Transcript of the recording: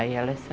Aí elas